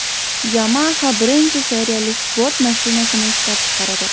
Yamaha birinchi seriyali sport mashinasini ishlab chiqaradi.